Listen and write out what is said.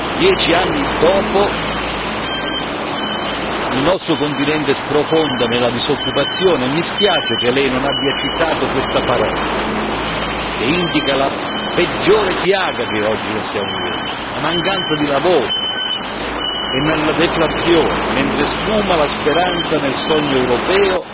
Dieci anni dopo, il nostro continente sprofonda nella disoccupazione e mi spiace che lei non abbia citato questa parola, che indica la peggiore piaga che oggi noi stiamo vivendo, la mancanza di lavoro, e nella deflazione sfuma la speranza nel sogno europeo